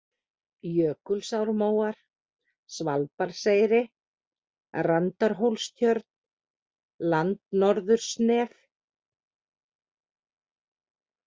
Jökulsármóar, Svalbarðseyri, Randarhólstjörn, Landnorðursnef